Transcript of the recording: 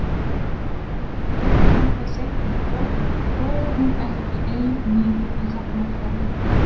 Er hún kemur þangað seint um kvöld þorir hún ekki ein niður í hafnarhverfið.